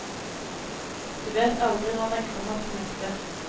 Du vet aldri når den kommer til nytte.